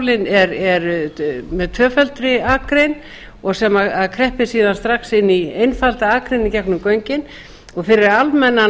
forskálinn er með tvöfaldri akrein sem kreppir síðan strax inn í einfalda akrein í gegnum göngin og fyrir almennan